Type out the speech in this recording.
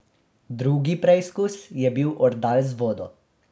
Drugi preizkus je bil ordal z vodo.